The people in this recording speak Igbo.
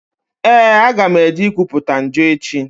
Ee, aga m eje ikwuputa njọ echi.